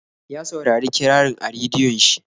Ya saurari kirarin a rediyon shi.